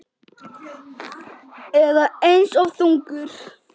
Eða aðeins of þungur?